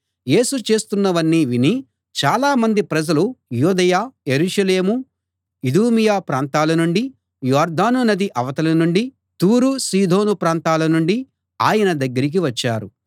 యేసు చేస్తున్నవన్నీ విని చాలామంది ప్రజలు యూదయ యెరూషలేము ఇదూమియ ప్రాంతాలనుండీ యొర్దాను నది అవతలి నుండీ తూరు సీదోను ప్రాంతాలనుండీ ఆయన దగ్గరికి వచ్చారు